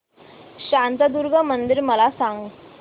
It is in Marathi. शांतादुर्गा मंदिर मला सांग